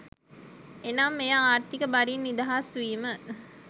එනම් එය ආර්ථීක බරින් නිදහස් වීම